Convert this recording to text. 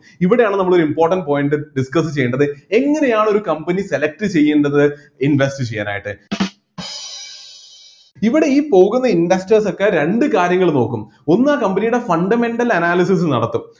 ഇവിടെയാണ് നമ്മള് ഒരു important point discuss ചെയ്യേണ്ടത് എങ്ങനെയാണ് ഒരു company select ചെയ്യേണ്ടത് invest ചെയ്യാനായിട്ട് ഇവിടെ ഈ പോകുന്ന investors ഒക്കെ രണ്ട് കാര്യങ്ങൾ നോക്കും ഒന്ന് ആ company യുടെ fundamental analysis നടത്തും